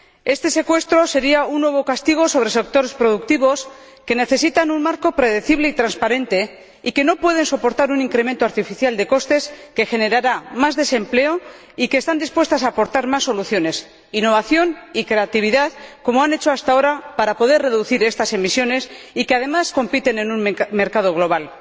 Este secuestro sería un nuevo castigo sobre sectores productivos que necesitan un marco predecible y transparente, que no pueden soportar un incremento artificial de costes que generará más desempleo, que están dispuestos a aportar más soluciones, innovación y creatividad ―como han hecho hasta ahora para poder reducir estas emisiones― y que, además, compiten en un mercado global.